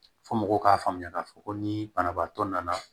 Fo mɔgɔw k'a faamuya k'a fɔ ko ni banabaatɔ nana